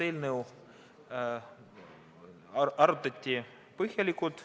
Eelnõu arutati põhjalikult.